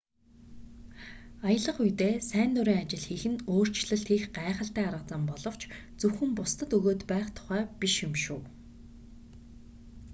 аялах үедээ сайн дурын ажил хийх нь өөрчлөлт хийх гайхалтай арга зам боловч зөвхөн бусдад өгөөд байх тухай биш юм шүү